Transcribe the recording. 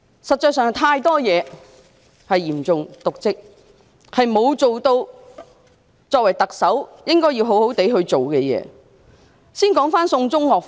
實際上，有太多涉及嚴重瀆職的情況，她沒有做好身為特首應該好好去做的工作。